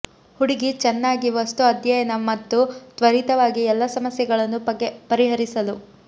ಹುಡುಗಿ ಚೆನ್ನಾಗಿ ವಸ್ತು ಅಧ್ಯಯನ ಮತ್ತು ತ್ವರಿತವಾಗಿ ಎಲ್ಲಾ ಸಮಸ್ಯೆಗಳನ್ನು ಪರಿಹರಿಸಲು